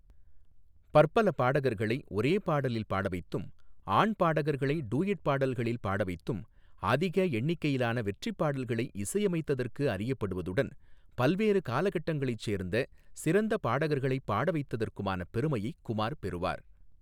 பற்பல பாடகர்களை ஒரே பாடலில் பாடவைத்தும், ஆண் பாடகர்களை டூயட் பாடல்களில் பாடவைத்தும் அதிக எண்ணிக்கையிலான வெற்றிப் பாடல்களை இசையமைத்ததற்கு அறியப்படுவதுடன் பல்வேறு காலகட்டங்களைச் சேர்ந்த சிறந்த பாடகர்களைப் பாடவைத்ததற்குமான பெருமையைக் குமார் பெறுவார்.